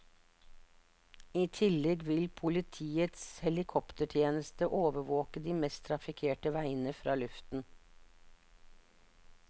I tillegg vil politiets helikoptertjeneste overvåke de mest trafikkerte veiene fra luften.